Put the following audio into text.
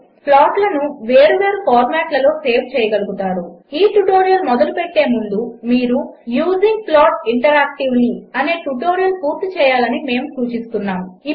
3 ప్లాట్లను వేరువేరు ఫార్మాట్లలో సేవ్ చేయగలుగుతారు ఈ ట్యుటోరియల్ మొదలుపెట్టే ముందు మీరు యూజింగ్ ప్లాట్ ఇంటరాక్టివ్లీ అనే ట్యుటోరియల్ పూర్తి చేయాలని మేము సూచిస్తున్నాము